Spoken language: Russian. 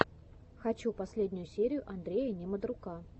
хочу последнюю серию андрея немодрука